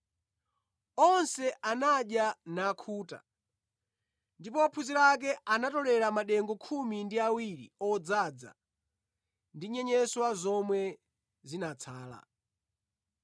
Onse anadya nakhuta, ndipo ophunzira ake anatolera madengu khumi ndi awiri odzaza ndi nyenyeswa zomwe zinatsala.